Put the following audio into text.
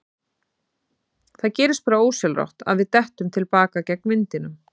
Það gerist bara ósjálfrátt að við dettum til baka gegn vindinum.